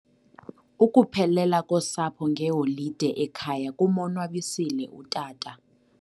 Ukuphelela kosapho ngeholide ekhaya kumonwabisile utata.